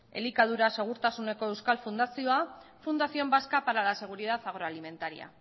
elikadura segurtasuneko euskal fundazioa fundación vasca para la seguridad agroalimentaria